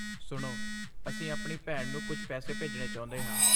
ਸੁਣੋ, ਅਸੀਂ ਆਪਣੀ ਭੈਣ ਨੂੰ ਕੁਝ ਪੈਸੇ ਭੇਜਣੇ ਚਾਹੁੰਦੇ ਹਾਂ।